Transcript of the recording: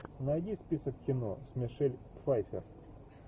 найди список кино с мишель пфайффер